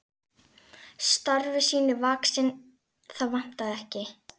Starfi sínu vaxinn, það vantaði ekki.